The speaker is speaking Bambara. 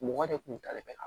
Mɔgɔ de kun talen bɛ ka